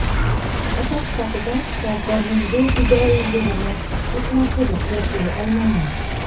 Ota sifatida shifokorning bu fidoyiligini hech narsaga qiyoslay olmayman.